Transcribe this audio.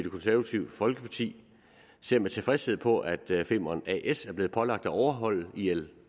konservative folkeparti ser med tilfredshed på at femern as er blevet pålagt at overholde ilo